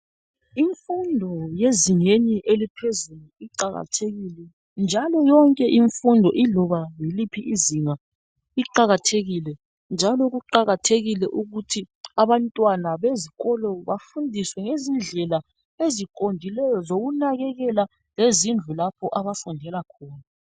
Imfundo yezingeni eliphezulu iqakathekile njalo yonke imfundo iloba yiliphi izinga iqakathekile njalo kuqakathekile ukuthi abantwana bezikolo bafundiswe ngezindlela eziqondileyo zokunakekela lezindlu lapho abafundela khona.